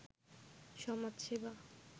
সমাজ সেবা